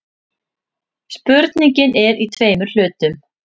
Spurningin er í tveimur hlutum.